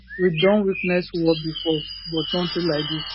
we don witness war bifor but notin like dis